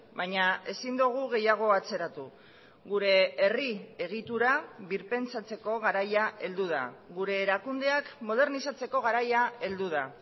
baina ezin dugu gehiago atzeratu gure herri egitura birpentsatzeko garaia heldu da gure erakundeak modernizatzeko garaia heldu da